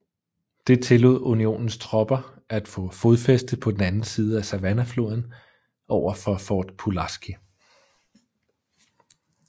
Det tillod Unionens tropper at få fodfæste på den anden side af Savannahfloden overfor Fort Pulaski